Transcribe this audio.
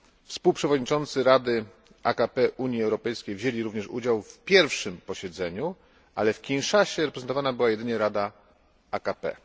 Współprzewodniczący Rady AKP UE wzięli również udział w pierwszym posiedzeniu, ale w Kinszasie reprezentowana była jedynie Rada AKP.